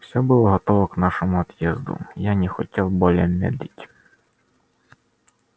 все было готово к нашему отъезду я не хотел более медлить